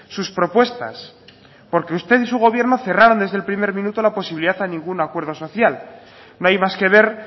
sus propuestas porque usted y su gobierno cerraron desde el primer minuto la posibilidad a ningún acuerdo social no hay más que ver